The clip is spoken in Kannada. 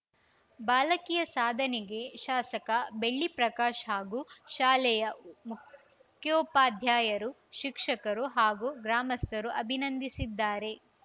ಬಾಲಕಿಯ ಸಾಧನೆಗೆ ಶಾಸಕ ಬೆಳ್ಳಿಪ್ರಕಾಶ್‌ ಹಾಗೂ ಶಾಲೆಯ ಮುಖ್ಯೋಪಾದ್ಯಾಯರು ಶಿಕ್ಷಕರು ಹಾಗೂ ಗ್ರಾಮಸ್ಥರು ಅಭಿನಂದಿಸಿದ್ದಾರೆ